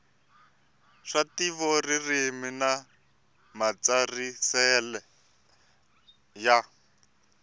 swa ntivoririmi na matirhiselo ya